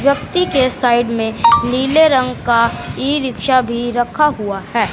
व्यक्ति के साइड में नीले रंग का ई रिक्शा भी रखा हुआ है।